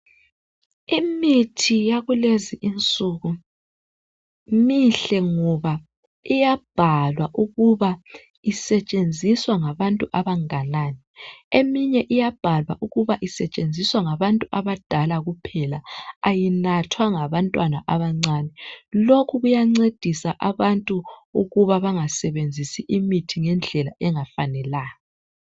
Imithi yakulezi insuku mihle ngoba iyabhalwa ukuba isetshenziswa ngabantu abanganani eminye iyabhalwa ukuba isetshenziswa ngabantu abadala kuphela ayinathwa ngabantwana abancane lokhu kuyancedisa abantu ukuba bangasebenzisi imithi ngendlela engafanelanga.